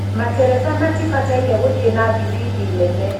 Materefa matifataire guthie na thifidi nene.